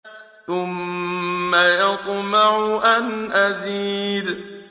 ثُمَّ يَطْمَعُ أَنْ أَزِيدَ